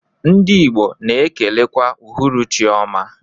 Ndi igbo na ekelekwa uhuruchi ọma.